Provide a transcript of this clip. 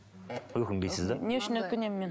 өкінбейсіз да не үшін өкінемін мен